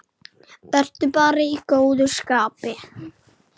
Vertu bara í góðu skapi.